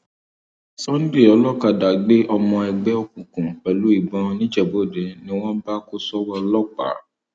sunday olókàdá gbé ọmọ ẹgbẹ òkùnkùn pẹlú ìbọn nìjẹbúòde ni wọn bá kó sọwọ ọlọpàá